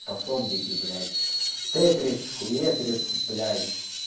пособники блять тетрис хуетрис блять